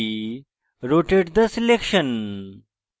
rotate the selection